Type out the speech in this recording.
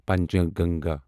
Panchganga